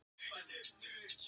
Sárin hafa nú þegar gróið.